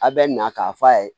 A bɛ na k'a f'a ye